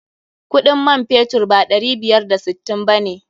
Kuɗin man fetur ba ɗari biyar da sittin ba ne.